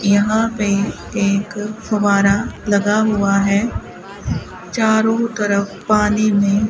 यहां पे एक फव्वारा लगा हुआ है चारों तरफ पानी में --